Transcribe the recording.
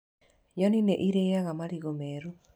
Nyoni nĩ irĩaga marigũ meru.